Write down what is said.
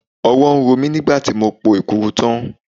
Ọwọ́ ń ro mí nígbà tí mo po Èkuru tán.